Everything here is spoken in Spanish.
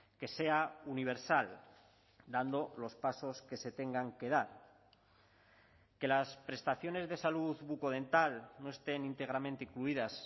que sea universal dando los pasos que se tengan que dar que las prestaciones de salud bucodental no estén íntegramente incluidas